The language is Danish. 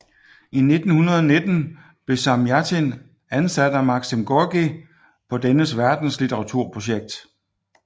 I 1919 blev Samjatin ansat af Maksim Gorkij på dennes verdenslitteraturprojekt